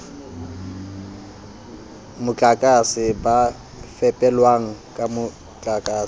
motlakase ba fepelwang ka motlakase